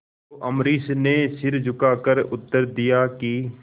तो अम्बरीश ने सिर झुकाकर उत्तर दिया कि